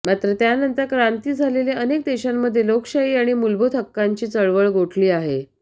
मात्र त्यानंतर क्रांती झालेले अनेक देशांमध्ये लोकशाही आणि मुलभूत हक्कांची चळवळ गोठली आहे